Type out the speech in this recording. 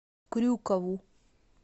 крюкову